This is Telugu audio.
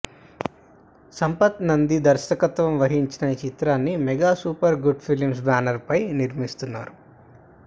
సంపత్ నంది దర్శకత్వం వహించిన ఈ చిత్రాన్ని mega super good films banner పై నిర్మిస్తున్నారు